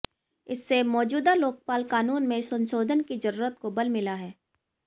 इससे मौजूदा लोकपाल कानून में संशोधन की जरूरत को बल मिला है